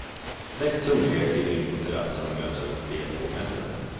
Sex hungriga kliver in på terassen och möts av en stel hovmästare.